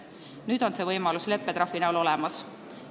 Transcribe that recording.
Nüüd on see võimalus leppetrahvi näol olemas.